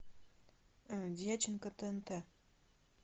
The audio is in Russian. дьяченко тнт